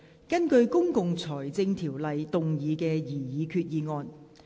根據《公共財政條例》動議的擬議決議案。